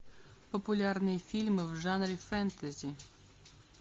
популярные фильмы в жанре фэнтези